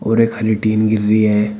और एक हरी टीन दिख रही है।